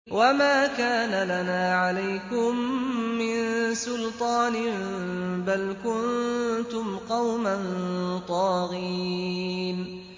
وَمَا كَانَ لَنَا عَلَيْكُم مِّن سُلْطَانٍ ۖ بَلْ كُنتُمْ قَوْمًا طَاغِينَ